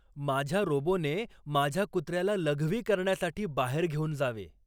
माझ्या रोबोने माझ्या कुत्र्याला लघवी करण्यासाठी बाहेर घेऊन जावे